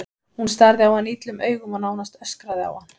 Hún starði á hann illum augum og nánast öskraði á hann.